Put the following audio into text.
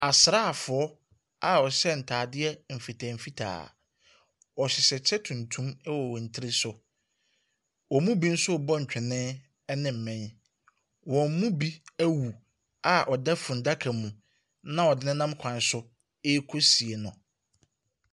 Asaafoɔ a wɔhyɛ ntadeɛ mfitaa mfitaa. Wɔhyehyɛ kyɛ tuntum wɔ wɔn tiri so. Wɔn mu bi nso reɔ ntwene ne mmɛn. Wɔn mu bi awu a ɔda funnada mu, na wɔde no nam kwan so rekɔsie no.